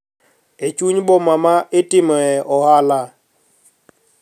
E chuny boma ma itimoe ohala